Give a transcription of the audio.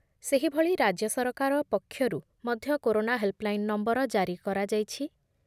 ସେହିଭଳି ରାଜ୍ୟ ସରକାର ପକ୍ଷରୁ ମଧ୍ୟ କରୋନା ହେଲ୍‌ପଲାଇନ୍ ନମ୍ବର ଜାରି କରାଯାଇଛି ।